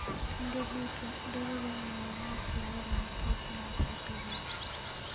Kinde duto, dwarore ni wanyis luor ne kich ma opidhogi.